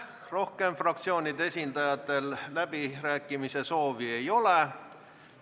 Rohkem fraktsioonide esindajatel läbirääkimise soovi ei ole.